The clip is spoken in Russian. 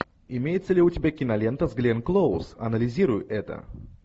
имеется ли у тебя кинолента с гленн клоуз анализируй это